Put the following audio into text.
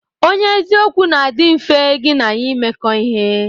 Onye eziokwu na adi mfe gi n'ya imekọ ihe.